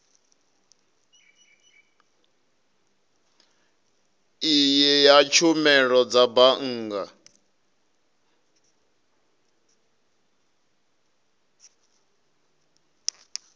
iyi ya tshumelo ya bannga